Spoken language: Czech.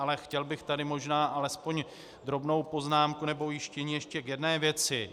Ale chtěl bych tady možná alespoň drobnou poznámku nebo ujištění ještě k jedné věci.